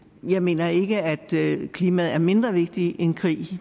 jeg mener ikke at klimaet er mindre vigtigt end krig